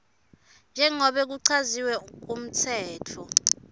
njengobe kuchaziwe kumtsetfo